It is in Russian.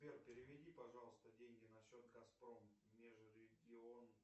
сбер переведи пожалуйста деньги на счет газпром межрегион